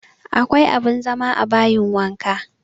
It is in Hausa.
Akwa abin zama a bayin wanka